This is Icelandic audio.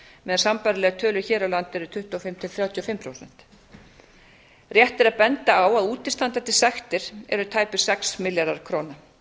meðan sambærilegar tölur hér á landi eru tuttugu og fimm til þrjátíu og fimm prósent rétt er að benda á að útistandandi sektir eru tæpir sex milljarðar króna